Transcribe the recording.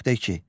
10.2.